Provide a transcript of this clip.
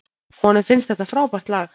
Honum finnst þetta frábært lag.